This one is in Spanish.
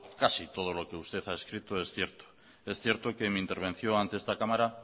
casi todo lo que usted a escrito es cierto es cierto que en mi intervención ante esta cámara